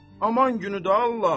Aman günüdür, Allah!